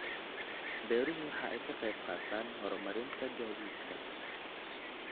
Beeruhu waxa ay ka qayb qaataan horumarinta gaadiidka.